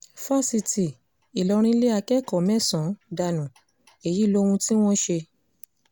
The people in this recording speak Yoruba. fásitì ìlọrin lé akẹ́kọ̀ọ́ mẹ́sàn-án dànù èyí lóhun tí wọ́n ṣe